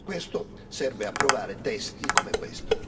Per questo serve approvare testi come questo.